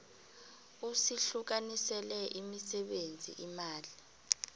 usihlukanisele imisebenzi imali